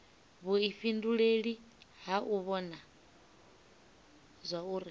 vhuifhinduleli ha u vhona zwauri